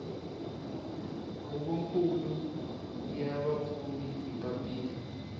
huvonkulu ya vapfuni hi papila